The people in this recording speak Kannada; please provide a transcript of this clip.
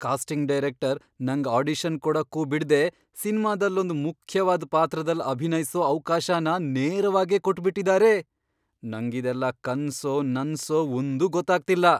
ಕಾಸ್ಟಿಂಗ್ ಡೈರೆಕ್ಟರ್ ನಂಗ್ ಆಡಿಷನ್ ಕೊಡಕ್ಕೂ ಬಿಡ್ದೇ ಸಿನ್ಮಾದಲ್ಲೊಂದ್ ಮುಖ್ಯವಾದ್ ಪಾತ್ರದಲ್ಲ್ ಅಭಿನಯ್ಸೋ ಅವ್ಕಾಶನ ನೇರವಾಗೇ ಕೊಟ್ಬಿಟಿದಾರೆ! ನಂಗಿದೆಲ್ಲ ಕನ್ಸೋ ನನ್ಸೋ ಒಂದೂ ಗೊತ್ತಾಗ್ತಿಲ್ಲ!